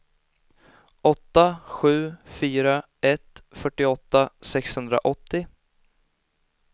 åtta sju fyra ett fyrtioåtta sexhundraåttio